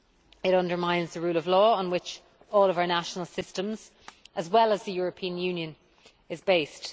It undermines the rule of law on which all of our national systems, as well as the European Union, are based.